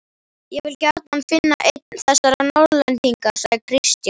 Ég vil gjarnan finna einn þessara Norðlendinga, sagði Christian.